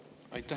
Aitäh!